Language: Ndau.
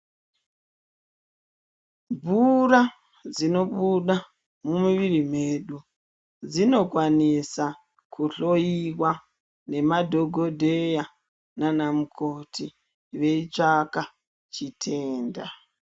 Mvura dzinobuda mumiviri mwedu, dzinokwanisa kuhloyiwa nemadhogodheya nanamukoti veitsvaka chitenda.